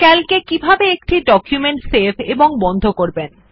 Calc এ কিভাবে একটি ডকুমেন্ট সেভ এবং বন্ধ করবেন